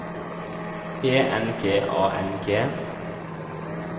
E N G A N G